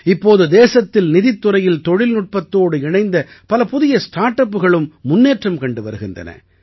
இப்போது தேசத்தில் நிதித்துறையில் தொழில்நுட்பத்தோடு இணைந்த பல புதிய ஸ்டார்ட் அப்புகளும் முன்னேற்றம் கண்டு வருகின்றன